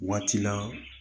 Waati la